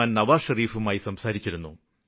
നവാസ് ഷരീഫുമായി സംസാരിച്ചിരുന്നു